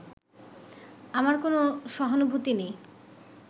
আমার কোনও সহানুভূতি নেই